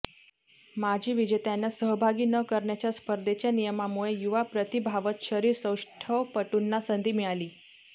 माजी विजेत्यांना सहभागी न करण्याच्या स्पर्धेच्या नियमामुळे युवा प्रतिभावंत शरीरसौष्ठवपटूंना संधी मिळाली